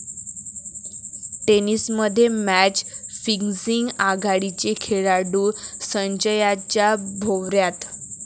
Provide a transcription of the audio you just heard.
टेनिसमध्ये match fixing? आघाडीचे खेळाडू संशयाच्या भोवऱ्यात